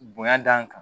Bonya d'an kan